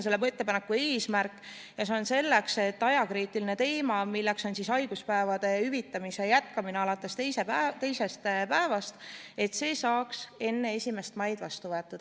See ettepanek on tehtud selleks, et ajakriitilise teemana saaks teisest päevast haiguspäevade hüvitamise jätkamise otsus enne 1. maid vastu võetud.